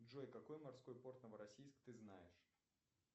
джой какой морской порт новороссийск ты знаешь